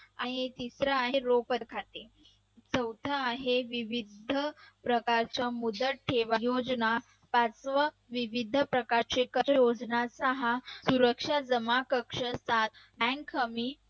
तिसरा आहे रोपर खाते. चौथा आहे विविध प्रकारच्या मुदत ठेवा योजना. पाचवा विविध प्रकारचे करयोजनाचा हा सुरक्षा जमा कक्षाचा bank हमी